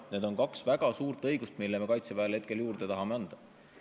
Need on kaks väga suurt õigust, mis me Kaitseväele juurde tahame anda.